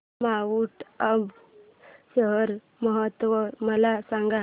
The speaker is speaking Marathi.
माऊंट आबू शरद महोत्सव मला सांग